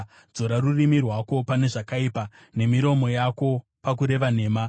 dzora rurimi rwako pane zvakaipa nemiromo yako pakureva nhema.